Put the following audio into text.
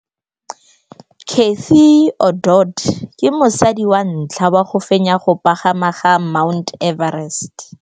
Cathy Odowd ke mosadi wa ntlha wa go fenya go pagama ga Mt Everest.